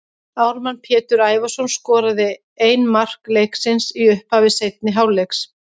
Ármann Pétur Ævarsson skoraði ein mark leiksins í upphafi seinni hálfleiks.